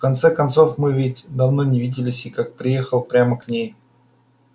в конце концов мы ведь давно не виделись и как приехал прямо к ней